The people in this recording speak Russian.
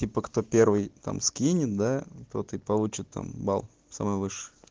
типо кто первый там скинет да тот и получит там балл самый высший